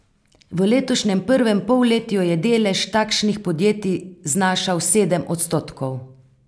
V letošnjem prvem polletju je delež takšnih podjetij znašal sedem odstotkov.